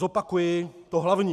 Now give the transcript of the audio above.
Zopakuji to hlavní.